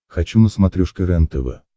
хочу на смотрешке рентв